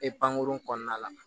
E pankurun kɔnɔna la